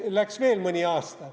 Läks veel mõni aasta.